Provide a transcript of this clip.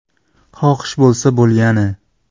Xohish bo‘lsa bo‘lgani!